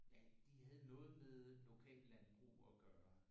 Ja de havde noget med lokallandbrug at gøre